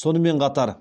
сонымен қатар